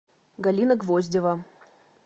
галина гвоздева